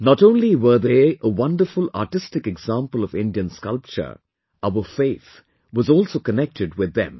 Not only were they a wonderful artistic example of Indian sculpture; our faith was also connected with them